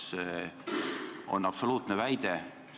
Kas see on absoluutne väide?